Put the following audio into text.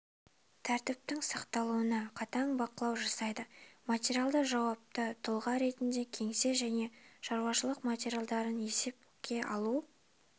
тәртіптің сақталуына қатаң бақылау жасайды матералды жауапты тұлға ретінде кеңсе және шаруашылық материалдарын есепке алу